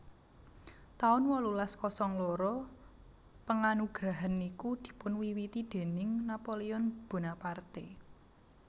taun wolulas kosong loro Penganugerahan niku dipunwiwiti déning Napoleon Bonaparte